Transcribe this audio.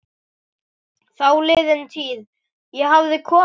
Þáliðin tíð- ég hafði komið